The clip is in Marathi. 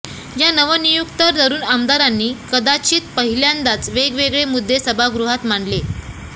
या नवनियुक्त तरुण आमदारांनी कदाचित पाहिल्यादाच वेगवेगळे मुद्दे सभागृहात मांडले